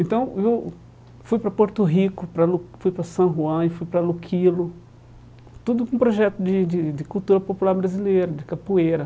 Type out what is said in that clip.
Então eu fui para Porto Rico para, fui para San Juan, e fui para Luquilo, tudo com o projeto de de de cultura popular brasileira, de capoeira.